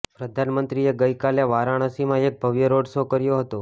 પ્રધાનમંત્રીએ ગઈકાલે વારાણસીમાં એક ભવ્ય રોડ શો કર્યો હતો